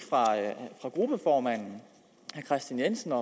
af gruppeformand herre kristian jensen og